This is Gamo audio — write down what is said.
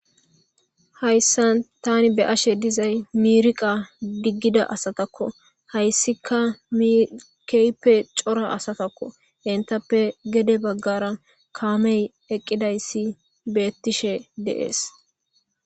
hayssa tani be ashe dizay mirqa diggida asatakko hayssika mikeype cora asatakko intappe gede baggara kaamey eqqidayssi bettishe deees